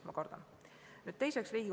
Ma kardan, et nii läheb.